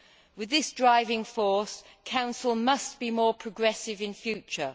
With this driving force, the Council must be more progressive in future.